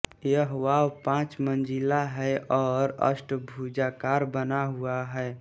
यह वाव पाँच मंज़िला है और अष्टभुजाकार बना हुआ है